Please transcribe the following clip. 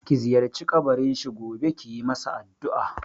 Ki ziyarci kabarin shi gobe kiyi masa addu'a!